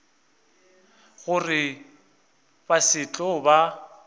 gore ba se tlo ba